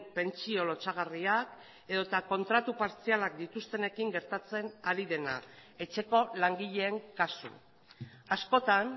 pentsio lotsagarriak edota kontratu partzialak dituztenekin gertatzen ari dena etxeko langileen kasu askotan